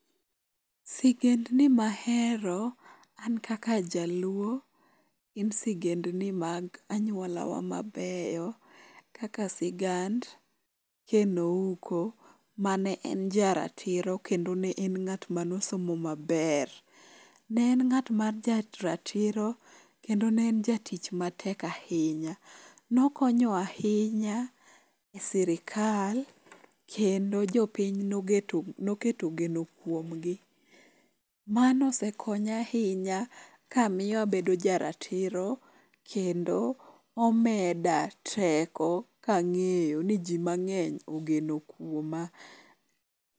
Sigendni mahero an kaka Jaluo en sigendgi mag anyuola wa mabeyo. Kaka sigand Ken Ouko mane en jaratiro kendo ne en ng'at manosomo maber. Ne en ng'at ma jaratiro kendo ne en jatich matek ahinya. Nokonyowa ahinya e sirkal kendo jopiny noketo geno kuomgi. Mano osekonya ahinya kamiya abedo ja ratiro kendo omeda teko kang'eyo ni ji mang'eny ogeno kuoma.